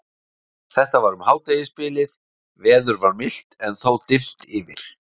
Þetta var um hádegisbilið, veður var milt en þó dimmt yfir.